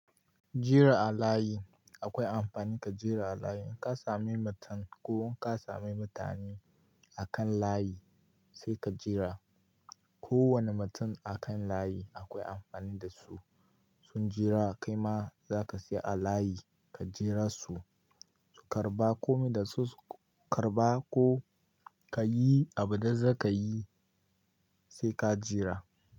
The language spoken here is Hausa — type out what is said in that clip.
Jira a layi akwai amfani ka jira a layi. In ka sami mutum ko in ka sami mutane akan layi sai ka jira. Ko wane mutum akan layi akwai amfani da su. Sun jira kai ma za ka saya a layi ka jira su, su karɓa komai da su su karɓa ko ka yi abinda za ka yi sai ka jira.